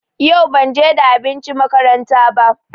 Yau banje da abinci makaranta ba.